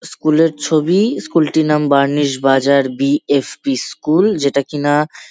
School -এর ছবি school -টির নাম Barnish Bazar B F. P. School যেটা কি না--